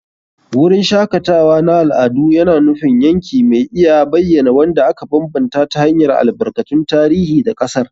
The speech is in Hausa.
Wurin shakatawa na al'adu yana nufin yanki mai iya bayyana wanda aka bambanta ta hanyar albarkatun tarihi da ƙasar.